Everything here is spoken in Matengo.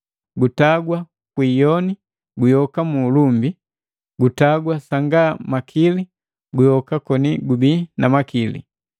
Gutagwa kwi iyoni, guyoka mu ulumbi, gutagwa sanga makili, guyoka koni gubii na makili.